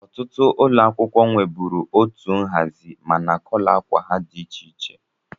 Ọtụtụ ụlọ akwụkwọ nweburu otu nhazi mana kọlọ ákwà ha dị iche.